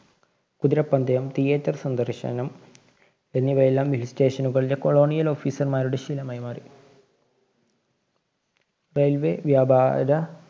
കുതിരപന്തയം, theater സന്ദര്‍ശനം എന്നിവയെല്ലാം Hill station കളിലെ colonial officer മാരുടെ ശീലമായി മാറി. railway വ്യാപാ~ര